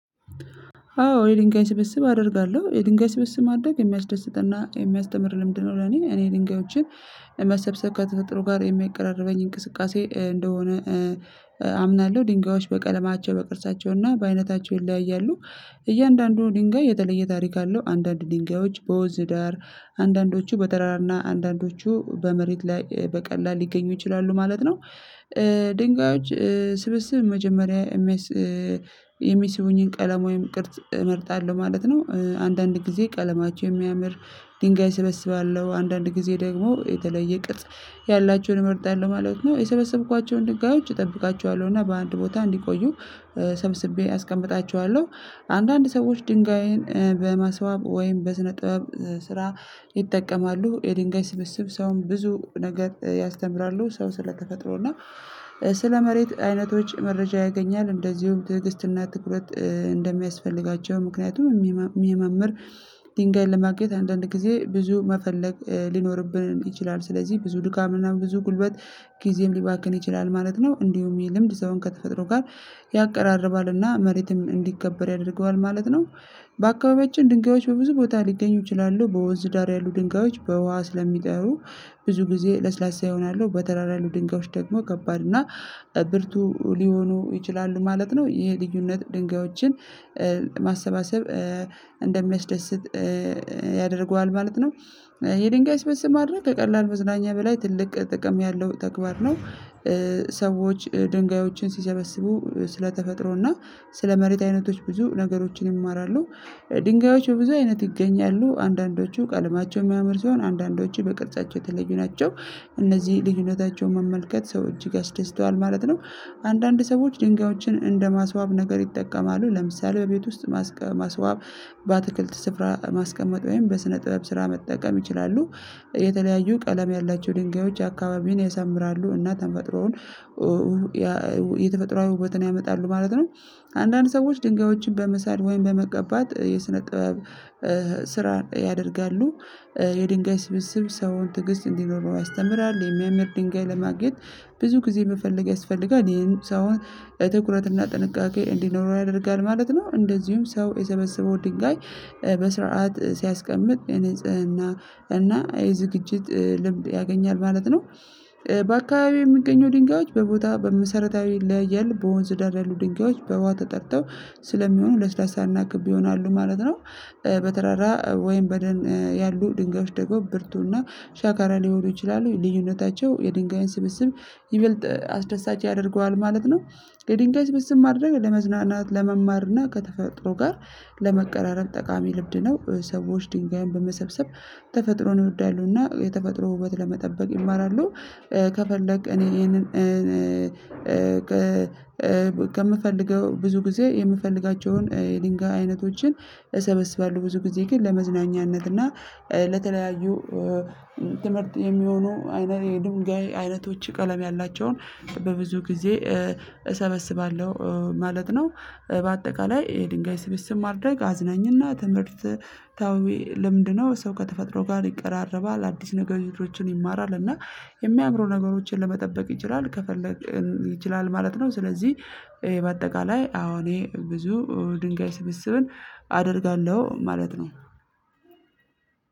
አዎ የድንጋይ ስብስብ አደርጋለሁ የድንጋይ ስብስብ ማድረግ የሚያስደስትና የሚያስተምር ልምድ ነው። ለኔ እኔ ድንጋዮችን መሰብሰብ ከተጠሩ ጋር የሚቀራረበኝ እንቅስቃሴ እንደሆነ አምናለሁ። ድንጋዮች በቀለማቸው በቅርጻቸው እና በአይነታቸው ይለያያሉ። እያንዳንዱ ድንጋይ የተለየ ታሪክ አለው አንዳንድ ድንጋዮች በወዝ ዳር አንዳንዶቹ በተራራና አንዳንዶቹ በመሬት ላይ በቀላል ሊገኙ ይችላሉ ማለት ነው። ድንጋዮች ስብስብ መጀመሪያ የሚሰሙኝን ቀለም ወይም ቅርጽ እመርጣለሁ ማለት ነው። አንዳንድ ጊዜ ቀለማቸው የሚያምር ድንጋይ ስብስብ አለው። አንዳንድ ጊዜ ደግሞ የተለየ ቅጥ ያላቸውን መርጠያለሁ ማለት ነው። የሰበሰብኳቸውን ድጋዮች እጠብቃቸዋለሁ እና በአንድ ቦታ እንዲቆዩ ሰብስቤ አስቀምጣችኋለሁ። አንዳንድ ሰዎች ድንጋይን በማስባብ ወይም በስነ ጥበብ ስራ ይጠቀማሉ። የድንጋይ ስብስብ ሰውን ብዙ ነገር ያስተምራሉ። ሰው ስለተፈጥሮ እና ስለ መሬት አይነቶች መረጃ ያገኛል። እንደዚሁም ትዕግስትና ትኩረት እንደሚያስፈልጋቸው ምክንያቱም የሚመምር ድንጋይ ለማግኘት አንዳንድ ጊዜ ብዙ መፈለግ ሊኖርብን ይችላል። ስለዚህ ብዙ ድካምና ብዙ ጉልበት ጊዜም ሊባክን ይችላል ማለት ነው። እንዲሁም የልምድ ሰውን ከተፈጥሮ ጋር ያቀራርባልና መሬትም እንዲከበር ያደርገዋል ማለት ነው። በአካባቢያችን ድንጋዮች በብዙ ቦታ ሊገኙ ይችላሉ። በወንዝ ዳር ያሉ ድንጋዮች በውሃ ስለሚጠሩ ብዙ ጊዜ ለስላሳ ይሆናሉ። በተራራሉ ድንጋዮች ደግሞ ከባድ እና ብርቱ ሊሆኑ ይችላሉ ማለት ነው። የልዩነት ድንጋዮችን ማሰባሰብ እንደሚያስደስት ያደርገዋል ማለት ነው። የድንጋይ ስብስብ ማድረግ ከቀላል መዝናኛ በላይ ትልቅ ጥቅም ያለው ተግባር ነው። ሰዎች ድንጋዮችን ሲሰበስቡ ስለተፈጥሮና ስለመሬት አይነቶች ብዙ ነገሮችን ይማራሉ። ድንጋዮቹ በብዙ አይነት ይገኛሉ አንዳንዶቹ ቀለማቸው የሚያምር ሲሆን አንዳንዶቹ በቅርጻቸው የተለዩ ናቸው። እነዚህ ልዩነታቸውን መመልከት ሰው እጅግ አስደስተዋል ማለት ነው። አንዳንድ ሰዎች ድንጋዮችን እንደ ማስዋብ ነገር ይጠቀማሉ። ለምሳሌ በቤት ውስጥ ማስዋብ በአትክልት ስፍራ ማስቀመጥ ወይም በስነ ጥበብ ስራ መጠቀም ይችላሉ። የተለያዩ ቀለም ያላቸው ድንጋዮች አካባቢን የሰምራሉ እና ተፈጥሮውን የተፈጥሮአዊ ውበትን ያመጣሉ ማለት ነው። አንዳንድ ሰዎች ድንጋዮችን በመሳድ ወይም በመቀባት የስነ ጥበብ ስራ ያደርጋሉ። የድንጋይ ስብስብ ሰውን ትግስት እንዲኖረው ያስተምራል። የሚያምር ድንጋይ ለማግኘት ብዙ ጊዜ የምፈልገው ያስፈልጋል ይሄንን ሰው በትኩረትና ጥንቃቄ እንዲኖረው ያደርጋል ማለት ነው። እንደዚሁም ሰው የሰበሰበው ድንጋይ በስርዓት ሲያስቀምጥ የንፅህና እና የዝግጅት ልምድ ያገኛል ማለት ነው። በአካባቢው የሚገኙ ድንጋዮች በቦታው በመሰረታዊ ላይ ያለ በወንዝ ዳር ያሉ በዋት ተጠርተው ስለሚሆኑ ለስላሳ እናክብ ይሆናሉ ማለት ነው። በተራራ ወይም በደን ያሉ ድንጋዮች ደግሞ ብርቱና ሻካራ ሊሆኑ ይችላሉ። ልዩነታቸው የድንጋዩን ስብስብ ይበልጥ አስደሳች ያደርገዋል ማለት ነው። ከድንጋይ ስብስብ ማድረግ ለመዝናናት ለመማር እና ከተፈጥሮ ጋር ለመቀራረብ ጠቃሚ ልብድ ነው። ሰዎች ድንጋይን በመሰብሰብ ተፈጥሮን ይወዳሉና የተፈጥሮ ውበት ለመጠበቅ ይማራሉ። ከፈለግክ እኔ ይሄንን ከምፈልገው ብዙ ጊዜ የምፈልጋቸውን የድንጋይ አይነቶችን እሰበስባለሁ ብዙ ጊዜ ግን ለመዝናኛነት እና ለተለያዩ ትምህርት የሚሆኑ አይነት የድምጋይ አይነቶች ቀለም ያላቸውን በብዙ ጊዜ እሰበስባለሁ ማለት ነው በአጠቃላይ የድንጋይ ስብስብ ማድረግ አዝናኝና ትምህርት ታዊ ለምንድነው? ሰው ከተፈጥሮ ጋር ይቀራረባል አዲስ ነገሮችን ይማራል እና የሚያምሩ ነገሮችን ለመጠበቅ ይችላል ከፈለግን ይችላል ማለት ነው። ስለዚህ በአጠቃላይ አዎ እኔ ብዙ ድንጋይ ስብስብን አደርጋለሁ ማለት ነው።